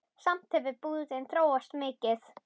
Samt hefur búðin þróast mikið.